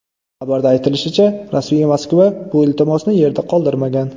Xabarda aytilishicha, rasmiy Moskva bu iltimosni yerda qoldirmagan.